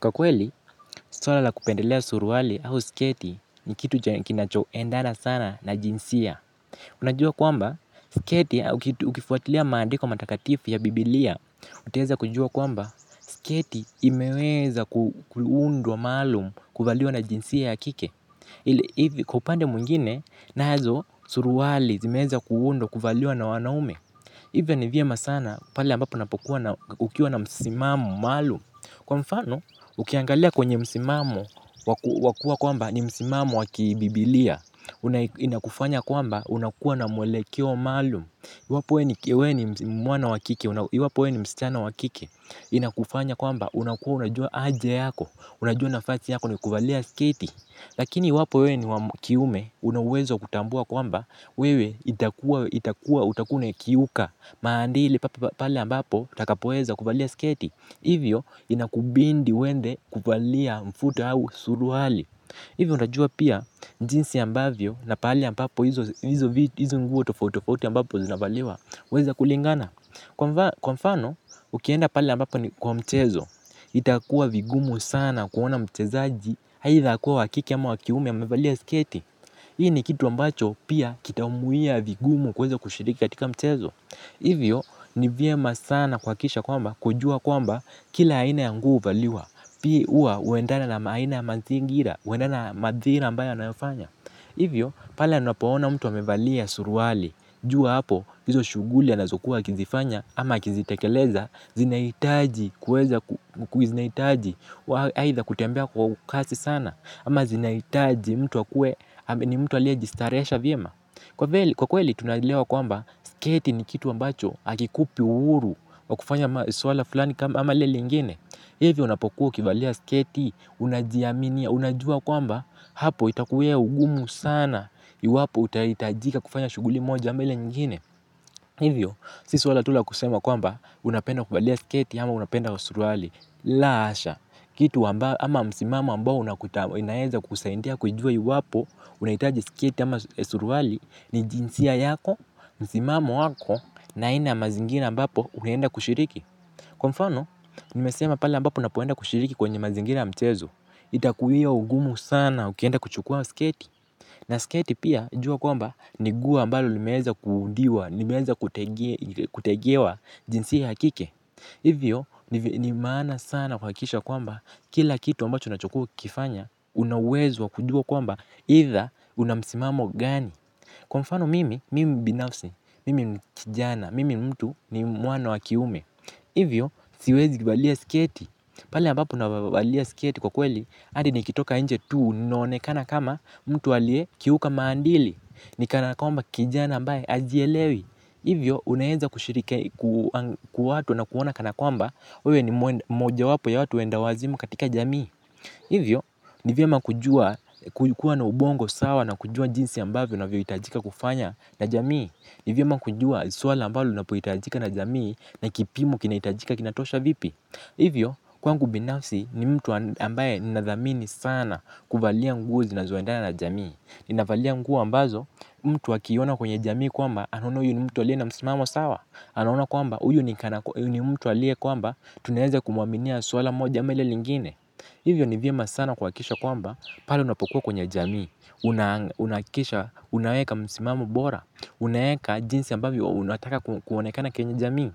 Kwa kweli, swala la kupendelea suruali au sketi ni kitu kinachoendana sana na jinsia. Unajua kwamba sketi ukifuatilia maandiko matakatifu ya biblia utaweza kujua kwamba sketi imeweza kuundwa maalumu kuvaliwa na jinsia ya kike. Hivi kwa upande mwingine, nazo suruali zimeweza kuundwa kuvaliwa na wanaume. Hivyo ni vyema sana pale ambapo unapokuwa na ukiwa na msimamo maalumu. Kwa mfano, ukiangalia kwenye msimamo wa kuwa kwamba ni msimamo wa kibiblia inakufanya kwamba unakuwa na mwelekeo maalumu iwapo wewe ni mwana wa kike iwapo wewe ni msichana wa kike inakufanya kwamba unakuwa unajua haja yako unajua nafasi yako ni kuvalia sketi. Lakini iwapo wewe ni wa kiume una uwezo wa kutambua kwamba wewe itakuwa itakuwa utakuwa unakiuka maadili pale ambapo utakapoweza kuvalia sketi hivyo inakubidi uende kuvalia mfuto au suruali. Hivyo unajua pia jinsi ambavyo na pahali ambapo hizo nguo tofauti tofauti ambapo zinavaliwa huweza kulingana kwa mfano ukienda pale ambapo ni kwa mchezo. Itakuwa vigumu sana kuona mchezaji aidha akuwe wa kike ama wa kiume amevalia sketi hii ni kitu ambacho pia kitamuwia vigumu kuweza kushiriki katika mchezo. Hivyo ni vyema sana kuhakikisha kwamba kujua kwamba kila aina ya nguo huvaliwa huwa huendana na aina ya mazingira, huendana na madhira ambayo anayofanya. Hivyo pale anapoona mtu amevalia suruali, jua hapo hizo shughuli anazokuwa akizifanya ama akizitekeleza zinahitaji kuweza zinahitaji aidha kutembea kwa kasi sana ama zinahitaji mtu akuwe ni mtu aliyejistarehesha vyema kwa kweli tunaelewa kwamba sketi ni kitu ambacho hakikupi uhuru wa kufanya swala fulani ama lile lingine. Hivyo unapokuwa ukivalia sketi, unajiaminia, unajua kwamba hapo itakuwia ugumu sana iwapo utahitajika kufanya shughuli moja ama ile nyingine. Hivyo, si swala tu la kusema kwamba unapenda kuvalia sketi ama unapenda suruali. La kasha, kitu ama msimamo ambao inaweza kukusaidia kujua iwapo unahitaji sketi ama suruali ni jinsia yako, msimamo wako, na aina ya mazingira ambapo unaenda kushiriki. Kwa mfano, nimesema pale ambapo unapoenda kushiriki kwenye mazingira ya mchezo, itakuwia ugumu sana ukienda kuchukua sketi. Na sketi pia jua kwamba ni nguo ambalo limeweza kuundiwa, limeweza kutengewa jinsia ya kike. Hivyo, ni maana sana kuhakikisha kwamba kila kitu ambacho unachokuwa ukifanya una uwezo wa kujua kwamba aidha una msimamo gani. Kwa mfano mimi, mimi binafsi, mimi kijana, mimi mtu ni mwana wa kiume, hivyo siwezi valia sketi, pale ambapo navalia sketi kwa kweli hadi nikitoka nje tu ninaonekana kama mtu aliyekiuka maadili, ni kana kwamba kijana ambaye hajielewi, hivyo unaweza kushiriki watu wanakuona kana kwamba wewe ni mojawapo ya watu wenda wazimu katika jamii. Hivyo, ni vyema kujua kuwa na ubongo sawa na kujua jinsi ambavyo unavyohitajika kufanya na jamii. Ni vyema kujua swala ambalo linapohitajika na jamii na kipimo kinahitajika kinatosha vipi. Hivyo, kwangu binafsi ni mtu ambaye ninathamini sana kuvalia nguo zinazoendana na jamii. Ninavalia nguo ambazo mtu akiiona kwenye jamii kwamba anaona huyu ni mtu aliye na msimamo sawa. Anaona kwamba huyu ni mtu aliye kwamba tunaweza kumwaminia swala moja ama hile lingine. Hivyo ni vyema sana kuhakikisha kwamba pale unapokuwa kwenye jamii unahakikisha unaweka msimamo bora unaweka jinsi ambavyo unataka kuonekana kwenye jamii.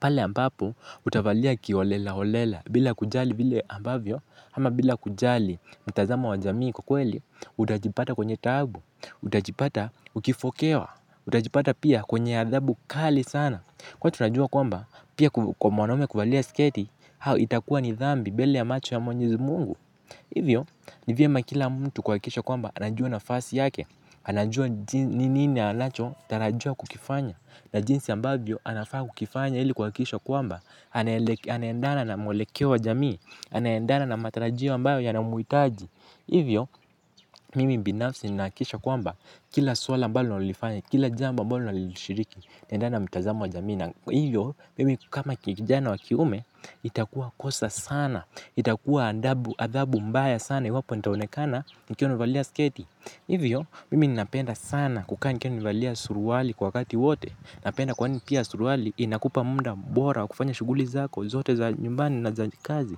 Pale ambapo utavalia kiholela holela bila kujali vile ambavyo ama bila kujali mtazamo wa jamii kwa ukweli utajipata kwenye taabu. Utajipata ukifokewa utajipata pia kwenye adhabu kali sana kwani tunajua kwamba pia kwa mwanaume kuvalia sketi itakuwa ni dhambi mbele ya macho ya mwenyezi mungu. Hivyo ni vyema kila mtu kuhakikisha kwamba anajua nafasi yake. Anajua ni nini anachotarajiwa kukifanya na jinsi ambavyo anafaa kukifanya ili kuhakikisha kwamba anaendana na mwelekeo wa jamii anaendana na matarajio ambayo yanamhitaji hivyo mimi binafsi ninahakisha kwamba kila swala ambalo ninalolifanya, kila jambo ambalo ninalolishiriki naendana na mtazamo wa jamii na hiyo, mimi kama kijana wa kiume itakuwa kosa sana. Itakuwa athabu mbaya sana iwapo nitaonekana nikiwa nimevalia sketi. Hivyo, mimi ninapenda sana kukaa nikiwa nimevalia suruali kwa wakati wote. Napenda kwani pia suruali inakupa muda bora wa kufanya shughuli zako zote za nyumbani na za kazi.